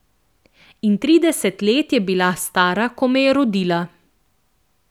In trideset let je bila stara, ko me je rodila.